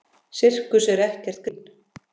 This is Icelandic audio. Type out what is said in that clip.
Sirkus er ekkert grín.